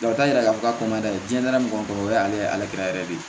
t'a yira k'a fɔ ko n'a dɛsɛra mɔgɔ min kɔrɔ o y'ale ka yɛrɛ de ye